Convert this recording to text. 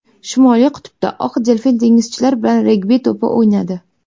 Shimoliy qutbda oq delfin dengizchilar bilan regbi to‘pi o‘ynadi .